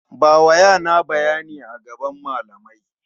Bawa yana bayani a gaban malamai.